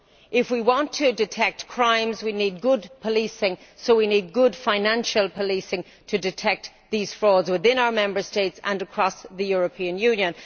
If we want to detect crimes we need good policing, so we need good financial policing to detect these frauds within our Member States and across the European Union.